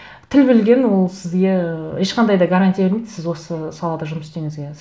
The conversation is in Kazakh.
тіл білген ол сізге ыыы ешқандай да гарантия бермейді сіз осы салада жұмыс істеуіңізге